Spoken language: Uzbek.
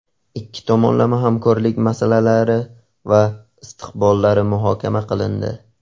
Ikki tomonlama hamkorlik masalalari va istiqbollari muhokama qilindi.